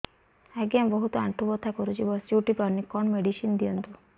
ଆଜ୍ଞା ବହୁତ ଆଣ୍ଠୁ ବଥା କରୁଛି ବସି ଉଠି ପାରୁନି କଣ ମେଡ଼ିସିନ ଦିଅନ୍ତୁ